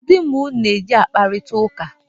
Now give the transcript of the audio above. Kedụ mgbe ụnụ na-e ji akparịta ụka?